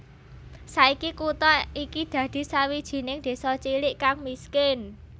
Saiki kutha iki dadi sawijining désa cilik kang miskin